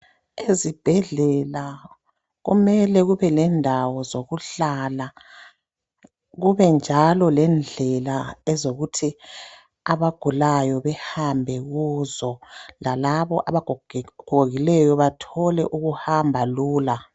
Ezibhedlela kumele kubelendawo zokuhlala kubenjalo lendlela ezokuthi abagulayo behambe kuzo lalabo abagokileyo bathole ukuhamba lula